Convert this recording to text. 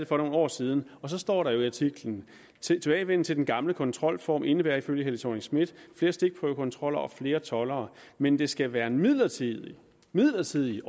for nogle år siden og så står der jo i artiklen tilbagevenden til den gamle kontrolform indebærer ifølge helle thorning schmidt flere stikprøvekontroller og flere toldere men det skal være midlertidigt midlertidigt